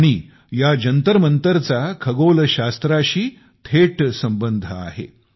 आणि या जंतरमंतरचा खगोलशास्त्राशी थेट संबंध आहे